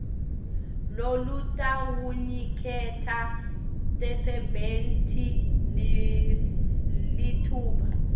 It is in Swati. lolutawuniketa tisebenti litfuba